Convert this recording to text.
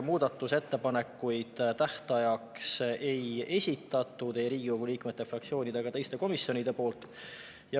Muudatusettepanekuid tähtajaks ei esitatud ei Riigikogu liikmete, fraktsioonide ega ka teiste komisjonide poolt.